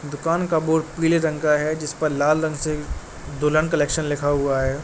दुकान का बोर्ड पीले रंग का है जिसपर लाल रंग से दुल्हन कलेक्शन लिखा हुआ है।